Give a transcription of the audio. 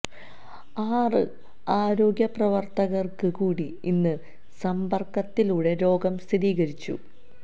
ആറ് ആരോഗ്യ പ്രവര്ത്തകര്ക്ക് കൂടി ഇന്ന് സമ്പര്ക്കത്തിലൂടെ രോഗം സ്ഥിരീകരിച്ചു